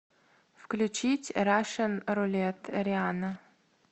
включить рашн рулет риана